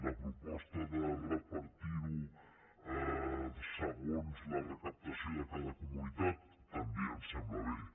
la proposta de repartir ho segons la recaptació de cada comunitat també em sembla bé